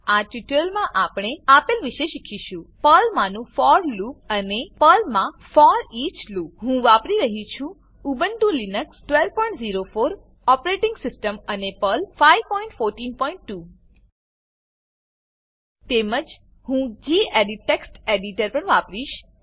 આ ટ્યુટોરીયલમાં આપણે આપેલ વિશે શીખીશું પર્લમાંનું ફોર લૂપ અને પર્લ મા ફોરીચ લૂપ હું વાપરી રહ્યી છું ઉબુન્ટુ લીનક્સ 1204 ઓપરેટીંગ સીસ્ટમ અને પર્લ 5142 તેમજ હું ગેડિટ ટેક્સ્ટ એડીટર પણ વાપરીશ